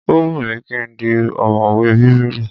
Ó wù mí ki n di ọ̀mọ̀wè Bíbélì.